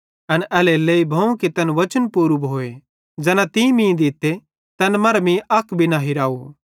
एन एल्हेरेलेइ भोवं कि तैन वचन पूरू भोए ज़ैना तीं मीं दित्ते तैन मरां मीं अक भी न हिरव